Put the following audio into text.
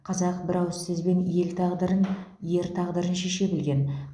қазақ бір ауыз сөзбен ел тағдырын ер тағдырын шеше білген